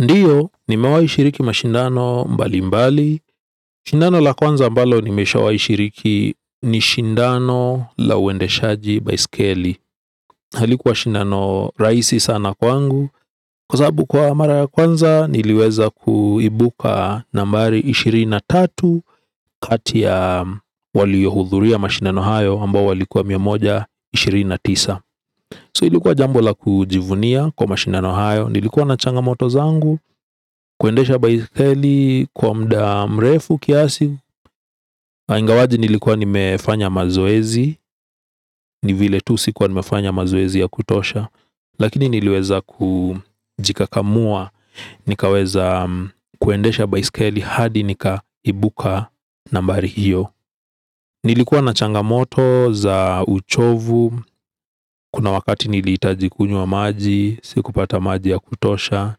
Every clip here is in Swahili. Ndio, nimewahi shiriki mashindano mbali mbali. Shindano la kwanza ambalo nimeshawahi shiriki ni shindano la uendeshaji baiskeli. Halikuwa shindano rahisi sana kwangu, kwa sababu kwa mara ya kwanza, niliweza kuibuka nambari ishirini na tatu, kati ya waliouhudhuria mashindano hayo ambao walikuwa mia moja ishirini na tisa. 'So' ilikuwa jambo la kujivunia kwa mashindano hayo. Nilikuwa na changamoto zangu, kuendesha baiskeli kwa muda mrefu kiasi ingawaje nilikuwa nimefanya mazoezi. Ni vile tu sikuwa nimefanya mazoezi ya kutosha. Lakini niliweza kujikakamua. Nikaweza kuendesha baiskeli hadi nikaibuka nambari hiyo. Nilikuwa na changamoto za uchovu, kuna wakati nilihitaji kunywa maji, sikupata maji ya kutosha.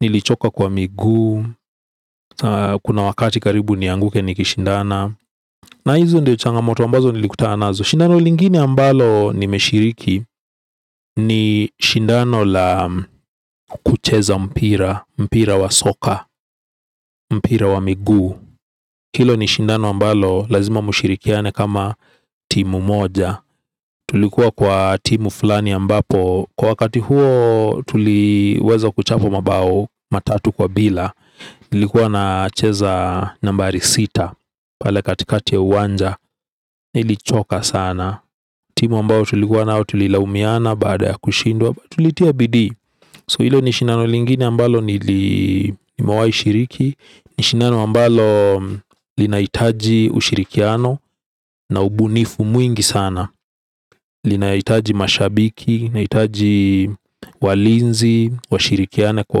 Nilichoka kwa miguu, kuna wakati karibu nianguke nikishindana. Na hizo ndio changamoto ambazo nilikutana nazo. Shindano linguine ambalo nimeshiriki. Ni shindano la kucheza mpira, mpira wa soka, mpira wa miguu. Hilo ni shindano ambalo lazima mshirikiane kama timu moja. Tulikuwa kwa timu fulani ambapo kwa wakati huo tuliweza kuchapwa mabao matatu kwa bila. Nilikuwa nacheza nambari sita, pale katikati ya uwanja. Nilichoka sana. Timu ambao tulikuwa nayo tulilaumiana baada ya kushindwa. Tulitia bidii, 'So' hilo ni shindano lingine ambalo nili nimewahi shiriki. Ni shindano ambalo linahitaji ushirikiano, na ubunifu mwingi sana. Linahitaji mashabiki, linahitaji walinzi washirikiane kwa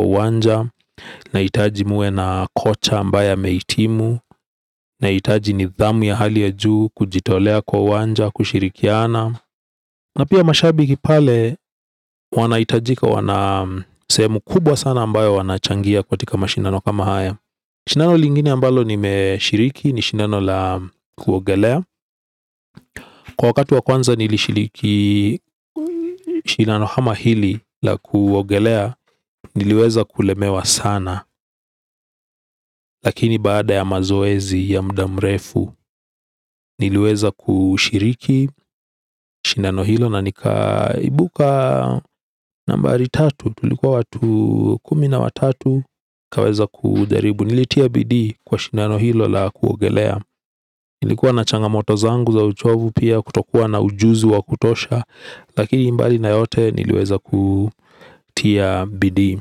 uwanja. Linahitaji muwe na kocha ambaye amehitimu. Linahitaji nidhamu ya hali ya juu, kujitolea kwa uwanja, kushirikiana. Na pia mashabiki pale. Wanahitajika, wana sehemu kubwa sana ambayo wanachangia katika mashindano kama haya. Shindano lingine ambalo nimeshiriki. Ni shindano la kuogelea, kwa wakati wa kwanza nilishiriki shindano kama hili la kuogelea niliweza kulemewa sana, lakini baada ya mazoezi ya muda mrefu, niliweza kushiriki shindano hilo na nikaibuka nambari tatu. Tulikuwa watu kumi na watatu, nikaweza kujaribu. Nilitia bidii kwa shindano hilo la kuogelea. Nilikuwa na changamoto zangu za uchovu pia kutokuwa na ujuzi wa kutosha. Lakini mbali na yote niliweza kutia bidii.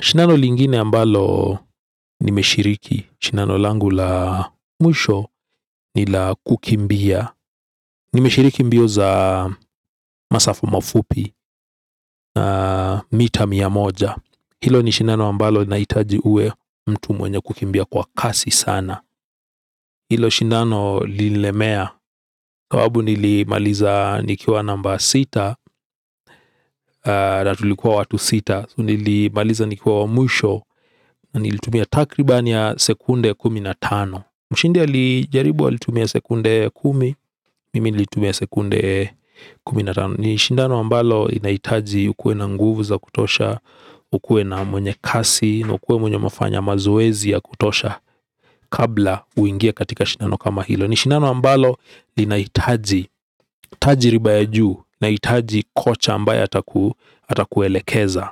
Shindano lingine ambalo nimeshiriki, shindano langu la mwisho, ni la kukimbia. Nimeshiriki mbio za masafa mafupi. Mita mia moja. Hilo ni shindano ambalo linahitaji uwe mtu mwenye kukimbia kwa kasi sana. Hilo shindano lililemea. Sababu nilimaliza nikiwa namba sita, na tulikuwa watu sita. Nilimaliza nikiwa wa mwisho. Nilitumia takriban ya sekunde kumi na tano. Mshindi alijaribu alitumia sekunde kumi, mimi nilitumia sekunde kumi na tano. Ni shindano ambalo linahitaji ukue na nguvu za kutosha. Ukue na mwenye kasi, ukue mwenye umefanya mazoezi ya kutosha. Kabla uingie katika shindano kama hilo. Ni shindano ambalo linaitaji. Tajiriba ya juu, linahitaji kocha ambaye atakuelekeza.